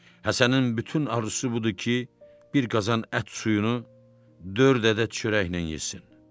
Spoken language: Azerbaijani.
Həsənin bütün arzusu budur ki, bir qazan ət suyunu dörd ədəd çörəklə yesin.